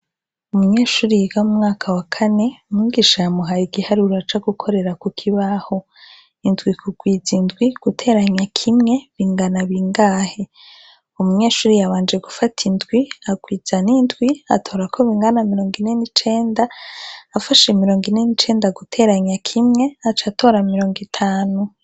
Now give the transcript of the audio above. Umunyeshure yiga mu mwaka wa Kane , umwigisha yamuhaye igiharuro co gukorera kukibaho indwi kurwiza indwi gutera kimwe bingana bingahe? umunyeshure yabanje gufata indwi agwiza nindwi atora ko bingana mirongo ine nicenda, afashe mirongo ine nicenda guteranya kimwe aca atora mirongo itanu.